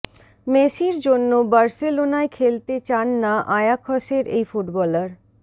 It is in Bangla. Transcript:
মেসির জন্য বার্সেলোনায় খেলতে চান না আয়াখসের এই ফুটবলার